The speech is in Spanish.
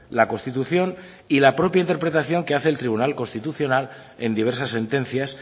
la constitución y la propia interpretación que hace el tribunal constitucional en diversas sentencias